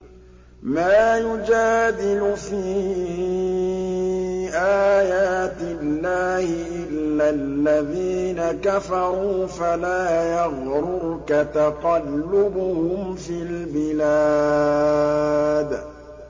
مَا يُجَادِلُ فِي آيَاتِ اللَّهِ إِلَّا الَّذِينَ كَفَرُوا فَلَا يَغْرُرْكَ تَقَلُّبُهُمْ فِي الْبِلَادِ